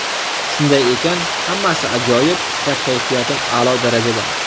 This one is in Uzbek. Shunday ekan, hammasi ajoyib va kayfiyatim a’lo darajada.